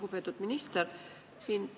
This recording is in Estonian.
Lugupeetud minister!